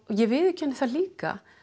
ég viðurkenni það líka